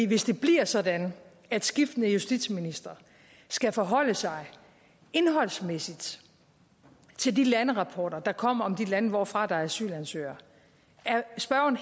hvis det bliver sådan at skiftende justitsministre skal forholde sig indholdsmæssigt til de landerapporter der kommer om de lande hvorfra der er asylansøgere er spørgeren